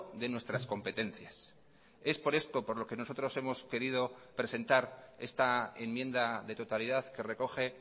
de nuestras competencias es por esto por lo que nosotros hemos querido presentar esta enmienda de totalidad que recoge